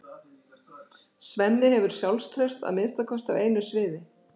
Svenni hefur sjálfstraust að minnsta kosti á einu sviði.